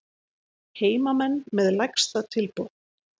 Heimamenn með lægsta tilboð